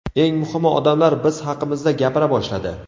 Eng muhimi, odamlar biz haqimizda gapira boshladi.